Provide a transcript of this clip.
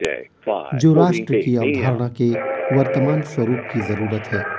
जो राष्ट्र की अवधारणा के वर्तमान स्वरूप की जरूरत है